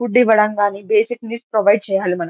Food ఇవ్వడం గని basic need provide చేయాలి.